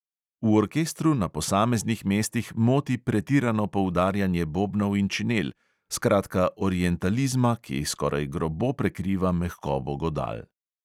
V orkestru na posameznih mestih moti pretirano poudarjanje bobnov in činel, skratka orientalizma, ki skoraj grobo prekriva mehkobo godal.